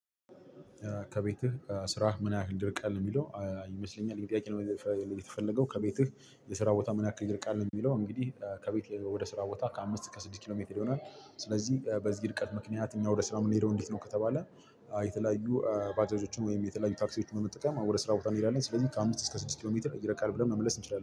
ከቤትህ ከ ስራህ ምን ያህል ይርቃል የሚለው? ይመስለኛል ይህን ጥያቄ ለመጠየቅ የተፈለገው ከቤትህ የስራ ቦታህ ምን ያክል ይልቃል ነው? የሚለው እንግዲህ ከቤት ወደ ስራ ቦታ ከአምስት እስከ ስድስት ኪሎ ሜትር ይሆናል። ስለዚህ በዚህ ርቀት ምክንያት እኛ ወደ ስራ የምንሄደው እንዴት ነው ከተባለ? የተለያዩ ባጃጆችን ወይም የተለያዩ ታክሲዎችን በመጠቀም ወደ ስራ ቦታ እንሄዳለን ስለዚህ ከአምስት እስከ ስድስት ኪሎ ሜትር ይርቃል ብለን መመለስ እንችላለን